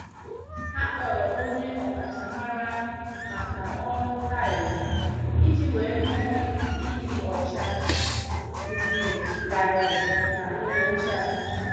Ha kpọrọ onye ọkachamara maka ọrụ tailu, iji wee hụ ịdị ọcha, ndị larịị n' ngwụcha.